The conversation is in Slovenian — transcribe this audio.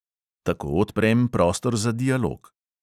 Tako odprem prostor za dialog.